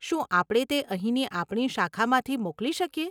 શું આપણે તે અહીંની આપણી શાખામાંથી મોકલી શકીએ?